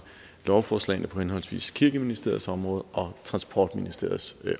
lovforslagene på henholdsvis kirkeministeriets område og transportministeriets